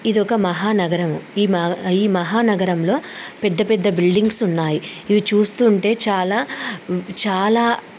ఇది ఒక మహా నగరం. ఆ ఈ- మహా నగరంలో పెద్ద-పెద్ద బిల్డింగ్స్ ఉన్నాయి. ఇవి చూస్తుంటే చాలా చాలా--